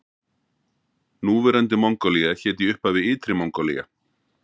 Núverandi Mongólía hét í upphafi Ytri Mongólía.